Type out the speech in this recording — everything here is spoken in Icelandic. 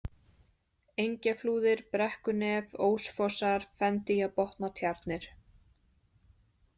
Engjaflúðir, Brekkunef, Ósfossar, Fendýjabotnatjarnir